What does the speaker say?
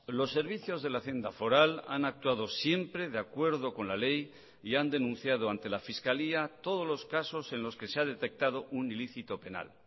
los servicios de la hacienda foral han actuado siempre de acuerdo con la ley y han denunciado ante la fiscalía todos los casos en los que se ha detectado un ilícito penal